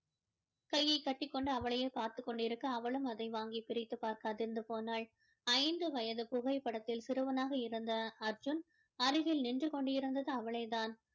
கையை கட்டிக் கொண்டு அவளையே பார்த்து கொண்டிருக்க அவளும் அதை வாங்கி பிரித்துப் பார்க்க அதிர்ந்து போனாள் ஐந்து வயது புகைப்படத்தில் சிறுவனாக இருந்த அர்ஜுன் அருகில் நின்று கொண்டிருந்தது அவளே தான்